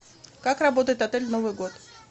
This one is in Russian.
как работает отель в новый год